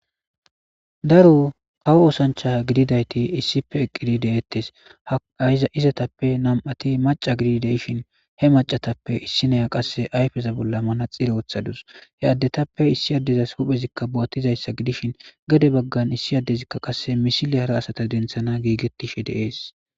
daro haw oosancha gididayti issife eqqidi deettes a izatappe nam7ati maca gidi deishin he macatappe issineya qasse ayfeza bolla mana xire ooththadus he addetappe issi addezas huphezikka bo7attizayssa gidishin gade baggan issi addezikka qasse misile hara asata denthana giigettishe deees